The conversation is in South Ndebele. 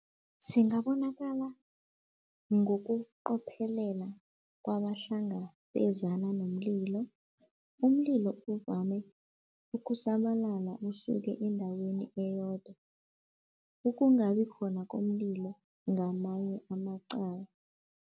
Singabonakala ngokuqophelela kwabahlangabezana nomlilo. Umlilo uvame ukusabalala usuke endaweni eyodwa. Ukungabi khona komlilo ngamanye amacala.